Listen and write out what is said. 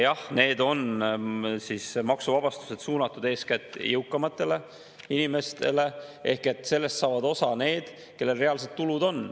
Jah, need maksuvabastused on suunatud eeskätt jõukamatele inimestele ehk sellest saavad osa need, kellel on reaalsed tulud.